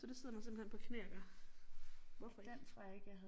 Så det sidder man simpelthen på knæ og gør hvorfor ikke